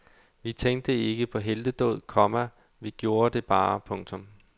Vi tænkte ikke på heltedåd, komma vi gjorde det bare. punktum